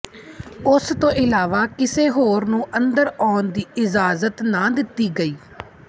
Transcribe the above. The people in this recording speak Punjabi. ਉਸ ਤੋਂ ਇਲਾਵਾ ਕਿਸੇ ਹੋਰ ਨੂੰ ਅੰਦਰ ਆਉਣ ਦੀ ਇਜ਼ਾਜਤ ਨਾ ਦਿੱਤੀ ਗਈ